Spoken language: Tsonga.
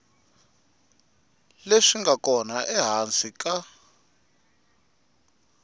leswi nga kona ehansi ka